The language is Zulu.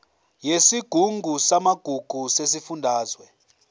yesigungu samagugu sesifundazwe